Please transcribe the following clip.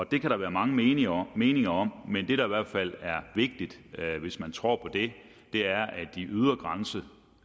det kan der være mange meninger meninger om men det der i hvert fald er vigtigt hvis man tror på det er